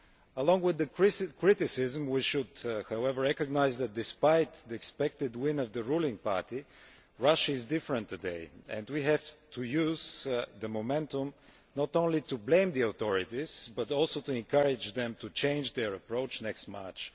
Along with the criticism we should, however, recognise that, despite the expected win of the ruling party, Russia is different today, and we have to use the momentum not just to blame the authorities, but also to encourage them to change their approach next March.